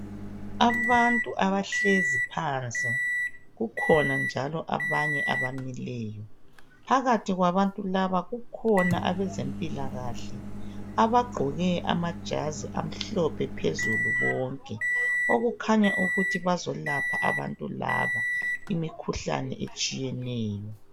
Abantu abahlezi phansi kukhona njalo abanye abamileyo. Phakathi kwabantu laba kukhona abezempilakahle abagqoke amajazi amhlophe phezulu bonke. Okukhanya ukuthi bazolapha abantu laba imikhuhlane etshiyeneyo.